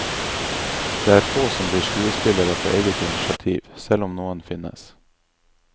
Det er få som blir skuespillere på eget initiativ, selv om noen finnes.